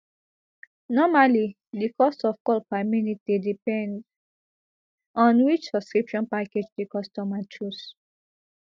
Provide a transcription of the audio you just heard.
normally di cost of call per minute dey depend on which subscription package di customer choose